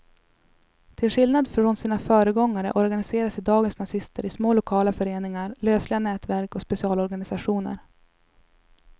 Till skillnad från sina föregångare organiserar sig dagens nazister i små lokala föreningar, lösliga nätverk och specialorganisationer.